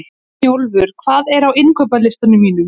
Snjólfur, hvað er á innkaupalistanum mínum?